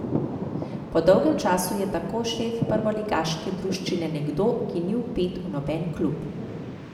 Po dolgem času je tako šef prvoligaške druščine nekdo, ki ni vpet v noben klub ...